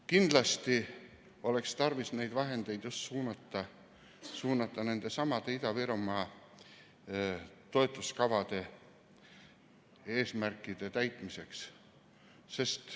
Kindlasti oleks tarvis neid vahendeid suunata nendesamade Ida-Virumaa toetuskavade eesmärkide täitmiseks.